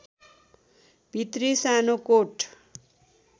भित्री सानो कोट